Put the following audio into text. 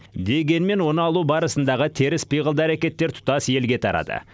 дегенмен оны алу барысындағы теріс пиғылды әрекеттер тұтас елге тарады